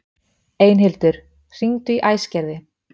Einhildur, hringdu í Æsgerði.